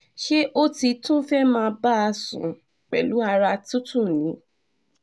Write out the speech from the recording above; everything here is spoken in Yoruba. ṣé o ti tún fẹ́ẹ́ máa bá a sùn pẹ̀lú ara tútù ni